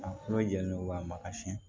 A kolo jɛlen don k'a ma kasi